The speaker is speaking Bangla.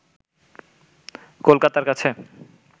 কলকাতার কাছে